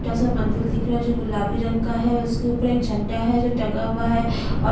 छोटा सा मंदिर दिख रहा है जो गुलाबी रंग का है उसके ऊपर एक झंडा है जो टंगा हुआ है और--